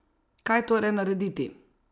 Kaj torej narediti?